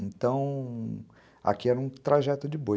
Então, aqui era um trajeto de boi.